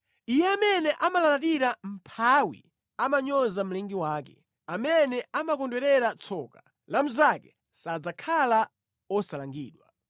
Iye amene amalalatira mʼmphawi amanyoza mlengi wake; amene amakondwerera tsoka la mnzake sadzakhala osalangidwa.